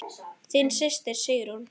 Þín systir, Sigrún.